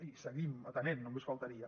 i seguim atenent només faltaria